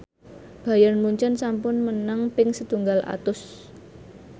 Bayern Munchen sampun menang ping setunggal atus